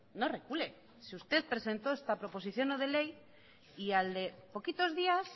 no recule si usted presentó esta proposición no de ley y al de poquitos días